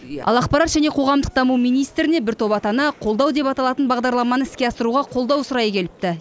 ал ақпарат және қоғамдық даму министріне бір топ ата ана қолдау деп аталатын бағдарламаны іске асыруға қолдау сұрай келіпті